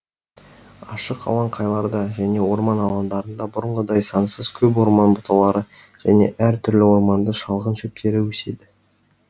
ашық алаңқайларда және орман алаңдарында бұрынғыдай сансыз көп орман бұталары және әр түрлі орманды шалғын шөптері өседі